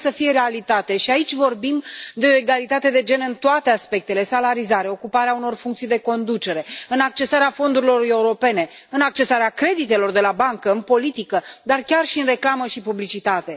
Trebuie să fie o realitate și aici vorbim de o egalitate de gen în toate aspectele salarizare, ocuparea unor funcții de conducere, accesarea fondurilor europene, accesarea creditelor de la bancă, în politică, dar chiar și în reclamă și publicitate.